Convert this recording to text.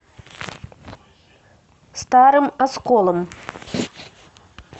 старым осколом